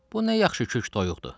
Bu nə yaxşı kök toyuqdur?